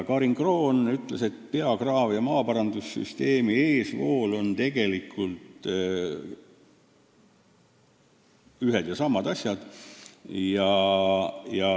Karin Kroon ütles, et peakraavi ja maaparandussüsteemi eesvoolud on tegelikult ühed ja samad asjad.